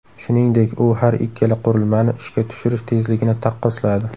Shuningdek, u har ikkala qurilmani ishga tushirish tezligini taqqosladi.